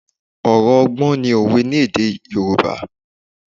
Ọ̀rọ̀ ọgbọ́n ni òwe ní èdè Yorùbá